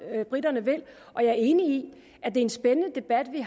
er briterne vil og jeg er enig at det er en spændende debat vi